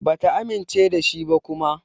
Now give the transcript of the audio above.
Bata amince da shi ba kuma.